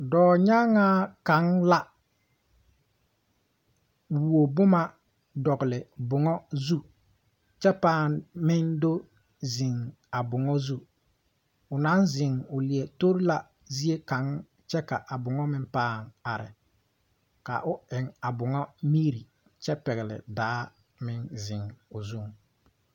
Dɔɔnyaŋaa kaŋ la wuo boma dɔgle bon zu kyɛ meŋ do ziŋ a bon zu a leɛ tore zeɛ kaŋ kyɛ ka a bon are.A dɔɔ eŋla a bon mire kyɛ pɛgle daa ziŋ a bon zu.